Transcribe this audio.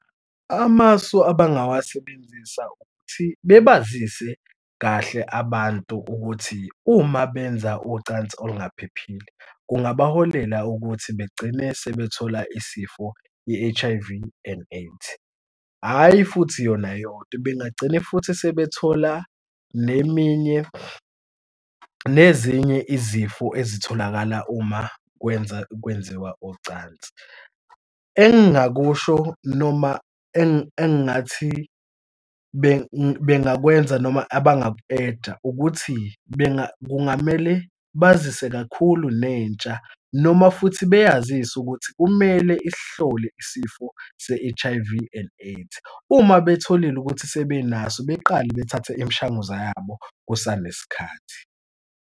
Amasu abangawasebenzisa ukuthi bebazise kahle abantu ukuthi uma benza ucansi olungaphephile kungabaholela ukuthi begcine sebethola isifo i-H_I_V and AIDS, hhayi futhi yona yodwa bangagcine futhi sebethola neminye, nezinye izifo ezitholakala uma kwenza, kwenziwa ocansi. Engingakusho noma engingathi bengikwenza noma abangaku-eda ukuthi kungamele bazise kakhulu nentsha noma futhi beyazise ukuthi kumele isihlole isifo se-H_I_V and AIDS. Uma betholile ukuthi sebenaso beqale bethathe imishanguza yabo kusanesikhathi.